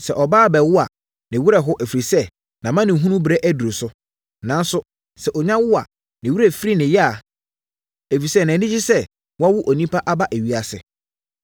Sɛ ɔbaa rebɛwo a, ne werɛ ho, ɛfiri sɛ, nʼamanehunuberɛ aduru so. Nanso, sɛ ɔnya wo a, ne werɛ firi ne yea, ɛfiri sɛ, nʼani gye sɛ wawo onipa aba ewiase.